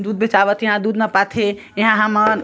दूध बेचावत हे यहाँ दूध नपाथे एहा हमन --